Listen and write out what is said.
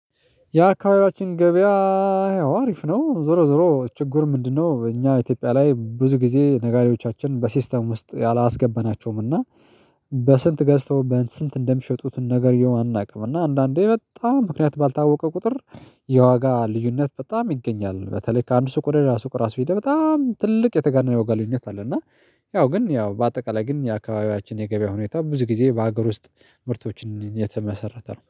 የአካባቢያችን ገበያ አሪፍ ነው። ዞሮ ዞሮ ችግሩ ምንድነው? እኛ ኢትዮጵያ ላይ ብዙ ጊዜ ነጋዴዎቻችን በሲስተም ውስጥ አላስገበናቸውም። እና በስንት ገዝተው በስንት እንደሚሸጡት ነገርየው አናውቅም። እና አንዳንዴ በጣም ምክንያት ባልታወቀ ቁጥር የዋጋ ልዩነት በጣም ይገኛል። በተለይ ከአንድ ሱቅ ወደ ሌላ ሱቅ ራሱ ሄደህ በጣም ትልቅ የተጋነነ የዋጋ ልዩነት አለ። እና ያው ግን ያው በአጠቃላይ ግን የአካባቢያችን የገበያ ሁኔታ ብዙ ጊዜ በሀገር ውስጥ ምርቶችን የተመሰረተ ነው